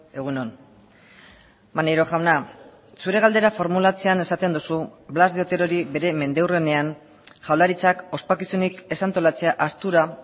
egun on maneiro jauna zure galdera formulatzean esaten duzu blas de oterori bere mendeurrenean jaurlaritzak ospakizunik ez antolatzea ahaztura